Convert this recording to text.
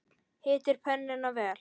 Hitið pönnuna vel.